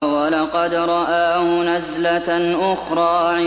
وَلَقَدْ رَآهُ نَزْلَةً أُخْرَىٰ